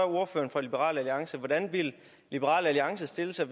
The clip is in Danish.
ordføreren for liberal alliance hvordan ville liberal alliance stille sig